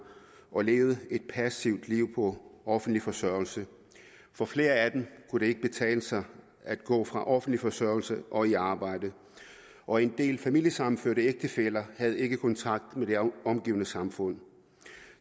og levede et passivt liv på offentlig forsørgelse for flere af dem kunne det ikke betale sig at gå fra offentlig forsørgelse og i arbejde og en del af de familiesammenførte ægtefæller havde ikke kontakt med det omgivende samfund